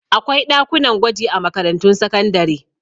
Akwai ɗakunan gwaji a makarantun sakandare.